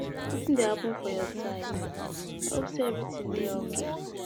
Wetin dey happen for your side? I hope say everything dey okay.